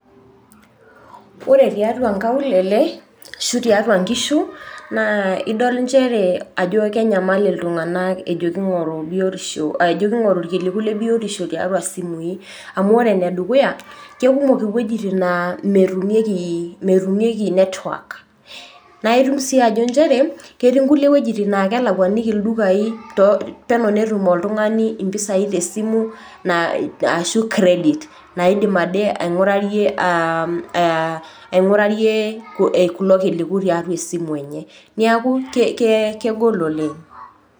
Ore tiatua nkaulele ashu tiatua nkishu naa idol nchere kenyamal iltunganak ajo kingoru biotisho , ajo kingoru tiatua simui. Amu ore ene dukuya ,kekumok iwuejitin naa metumieki, metumieki network . Naa itum sii nchere ketii nkulie wuejitin naa kelakwaniki ildukai to , peno netum oltungani mpisai te esimu na ashu credit naidim ade aingurarie aa aa aingurarie kulo kiliku tiatua esimu enye , niaku kegol oleng.